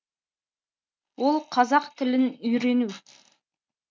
ол қазақ тілін үйрену